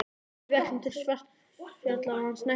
Við ætlum til Svartfjallalands næsta sumar.